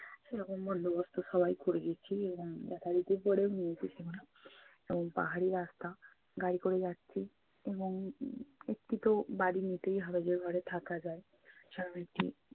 সেরকম বন্দোবন্ত সবাই করে গেছি এবং দেখা-দেখি করে উম কিছুনা এবং পাহাড়ি রাস্তা গাড়ি করে যাচ্ছি। এবং উম এর থেকেও বাড়ি নিতেই হবে যে ঘরে থাকা যায়। স্বাভাবিকই